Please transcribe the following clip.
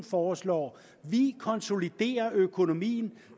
foreslår vi konsoliderer økonomien